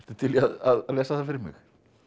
til í að lesa það fyrir mig